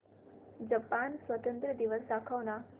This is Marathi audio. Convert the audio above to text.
जपान स्वातंत्र्य दिवस दाखव ना